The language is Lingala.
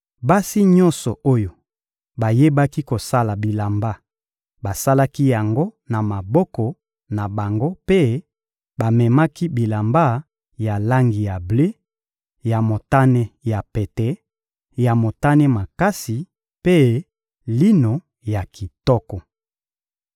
Basi nyonso oyo bayebaki kosala bilamba basalaki yango na maboko na bango mpe bamemaki bilamba ya langi ya ble, ya motane ya pete, ya motane makasi mpe lino ya kitoko.